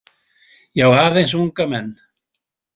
Já, aðeins unga menn.